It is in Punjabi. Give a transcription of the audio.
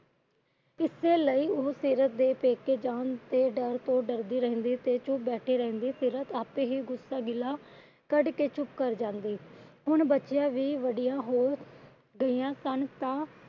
ਇਸੇ ਲਈ ਉਹ ਸੀਰਤ ਦੇ ਪੇਕੇ ਜਾਂ ਦੇ ਡਰ ਤੋਂ ਡਰਦੀ ਰਹਿੰਦੀ ਤੇ ਚੁੱਪ ਬੈਠੀ ਰਹਿੰਦੀ। ਸੀਰਤ ਵੀ ਆਪੇ ਹੀ ਗੁੱਸਾ ਗਿੱਲਾ ਕੱਢ ਕੇ ਚੁੱਪ ਕਰ ਜਾਂਦੀ। ਹੁਣ ਬੱਚੀਆਂ ਵੀ ਵੱਡੀਆਂ ਹੋ ਗਈਆਂ ਸਨ। ਤਾਂ